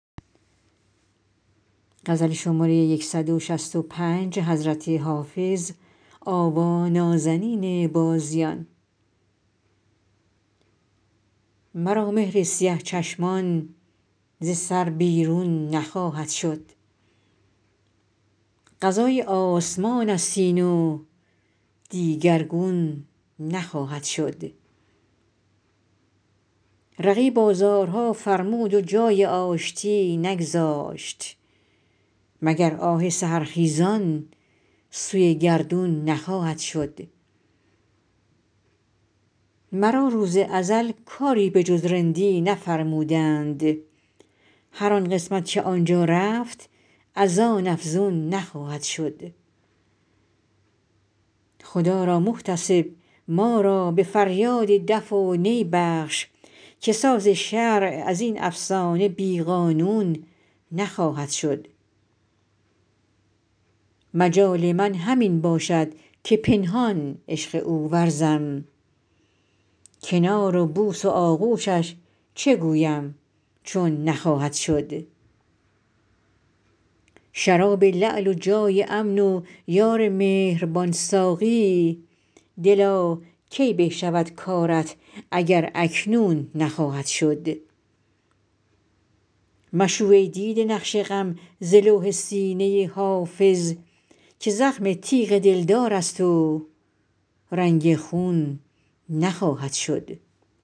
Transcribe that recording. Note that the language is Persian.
مرا مهر سیه چشمان ز سر بیرون نخواهد شد قضای آسمان است این و دیگرگون نخواهد شد رقیب آزارها فرمود و جای آشتی نگذاشت مگر آه سحرخیزان سوی گردون نخواهد شد مرا روز ازل کاری به جز رندی نفرمودند هر آن قسمت که آن جا رفت از آن افزون نخواهد شد خدا را محتسب ما را به فریاد دف و نی بخش که ساز شرع از این افسانه بی قانون نخواهد شد مجال من همین باشد که پنهان عشق او ورزم کنار و بوس و آغوشش چه گویم چون نخواهد شد شراب لعل و جای امن و یار مهربان ساقی دلا کی به شود کارت اگر اکنون نخواهد شد مشوی ای دیده نقش غم ز لوح سینه حافظ که زخم تیغ دلدار است و رنگ خون نخواهد شد